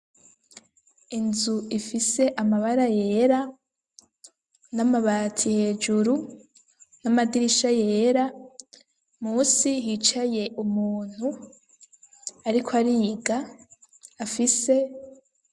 Inzu ifise amabara yera n'amabati hejuru, n'amadirisha yera, munsi hicaye umuntu ariko ariga afise.